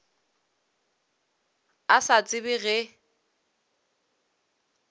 a sa tsebe ge e